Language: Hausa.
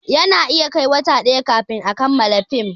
Ana iya kai wa wata ɗaya kafin a kamala fim